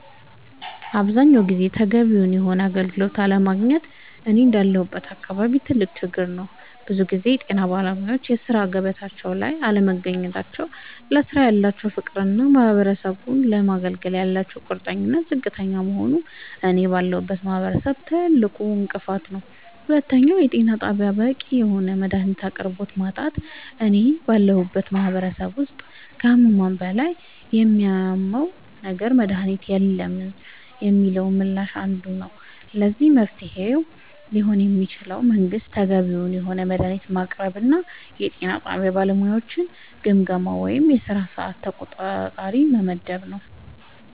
አብዛኛውን ጊዜ ተገቢውን የሆነ አገልግሎት አለማግኘት እኔ እንዳለሁበት አካባቢ ትልቅ ችግር ነዉ ብዙ ጊዜ የጤና ባለሙያወች በሥራ ገበታቸው ላይ አለመገኘት ለስራው ያላቸው ፍቅርና ማህበረሰቡን ለማገልገል ያላቸው ቁርጠኝነት ዝቅተኛ መሆኑ እኔ ባለሁበት ማህበረሰብ ትልቁ እንቅፋት ነዉ ሁለተኛው የጤና ጣቢያወች በቂ የሆነ የመድሃኒት አቅርቦት ማጣት እኔ ባለሁበት ማህበረሰብ ውስጥ ከህመሙ በላይ የሚያመው ነገር መድሃኒት የለንም የሚለው ምላሽ አንዱ ነዉ ለዚህ መፍትሄ ሊሆን የሚችለው መንግስት ተገቢውን የሆነ መድሃኒት ማቅረብና የጤና ጣቢያ ባለሙያወችን ግምገማ ወይም የስራ ሰዓት ተቆጣጣሪ መመደብ